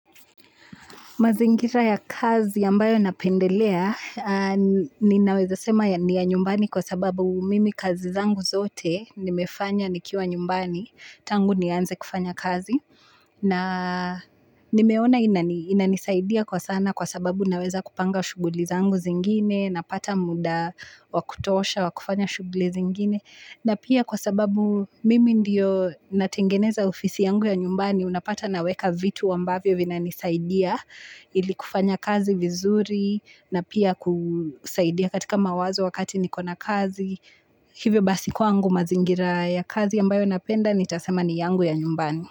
Mazingira ya kazi ambayo napendelea ninawezasema ni ya nyumbani kwa sababu mimi kazi zangu zote nimefanya nikiwa nyumbani tangu nianze kufanya kazi na nimeona inanisaidia kwa sana kwa sababu naweza kupanga shughuli zangu zingine napata muda wa kutosha wa kufanya shughuli zingine na pia kwa sababu mimi ndiyo natengeneza ofisi yangu ya nyumbani unapata naweka vitu ambavyo vinanisaidia ili kufanya kazi vizuri na pia kusaidia katika mawazo wakati niko na kazi hivyo basi kwangu mazingira ya kazi ambayo napenda nitasema ni yangu ya nyumbani.